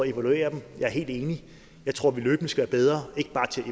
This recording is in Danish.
evaluere dem jeg er helt enig jeg tror vi løbende skal være bedre ikke bare til at